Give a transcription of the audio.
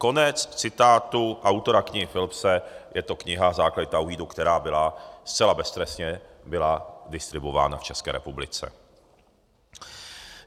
Konec citátu autora knihy Philipse, je to kniha Základy Tauhídu, která byla zcela beztrestně distribuována v České republice.